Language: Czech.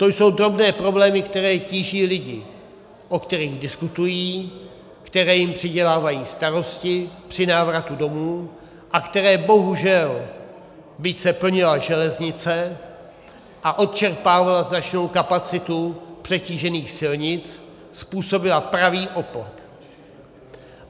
To jsou drobné problémy, které tíží lidi, o kterých diskutují, které jim přidělávají starosti při návratu domů a které bohužel, byť se plnila železnice a odčerpávala značnou kapacitu přetížených silnic, způsobily pravý opak.